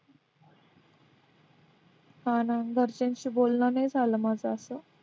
हां ना घरच्यांशी बोलणं नाही झालं माझं असं